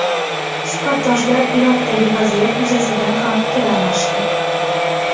Suhbatdoshlar Iroqdagi vaziyat yuzasidan ham fikr almashdi.